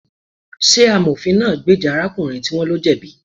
Ṣé amofin náà gbèjà arákùnrin tí wón lo jẹ̀bi